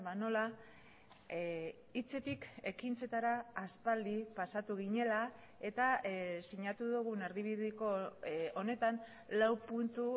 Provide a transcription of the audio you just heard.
nola hitzetik ekintzetara aspaldi pasatu ginela eta sinatu dugun erdibideko honetan lau puntu